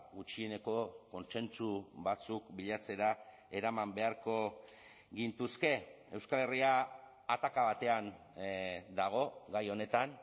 gutxieneko kontsentsu batzuk bilatzera eraman beharko gintuzke euskal herria ataka batean dago gai honetan